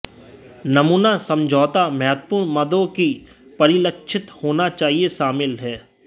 नमूना समझौता महत्वपूर्ण मदों कि परिलक्षित होना चाहिए शामिल हैं